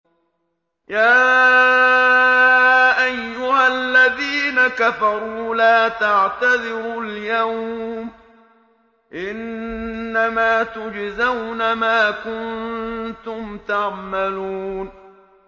يَا أَيُّهَا الَّذِينَ كَفَرُوا لَا تَعْتَذِرُوا الْيَوْمَ ۖ إِنَّمَا تُجْزَوْنَ مَا كُنتُمْ تَعْمَلُونَ